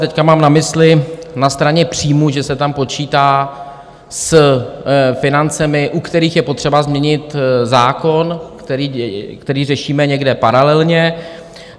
Teď mám na mysli na straně příjmů, že se tam počítá s financemi, u kterých je potřeba změnit zákon, který řešíme někde paralelně.